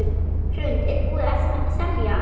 Hrund: Er búið að semja?